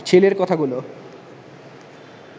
ছেলের কথাগুলো